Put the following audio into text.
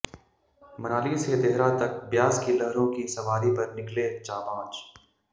मनाली से देहरा तक ब्यास की लहरों की सवारी पर निकले जांबाज